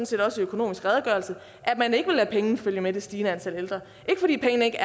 set også i økonomisk redegørelse at man ikke vil lade pengene følge med det stigende antal ældre ikke fordi pengene ikke